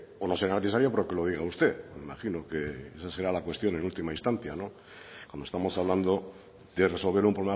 o no será necesaria porque lo diga usted me imagino que esa será la cuestión en última instancia como estamos hablando de resolver un